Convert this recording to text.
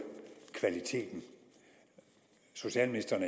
kvalitet socialministeren